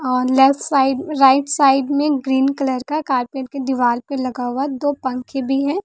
और left side right side में green colour का कारपेट के दीवार पर लगा हुआ दो पंखे भी है।